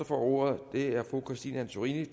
får ordet er fru christine antorini